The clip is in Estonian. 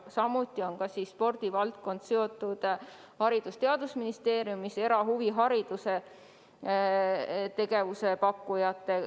Samuti on spordivaldkond seotud Haridus- ja Teadusministeeriumis erahuvihariduse ja -tegevuse pakkujatega.